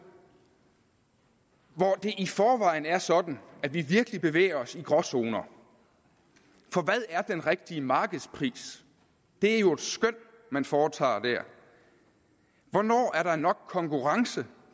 det i forvejen er sådan at vi virkelig bevæger os i gråzoner for hvad er den rigtige markedspris det er jo et skøn man foretager der hvornår er der nok konkurrence